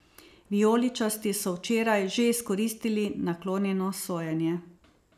Vijoličasti so včeraj že izkoristili naklonjeno sojenje.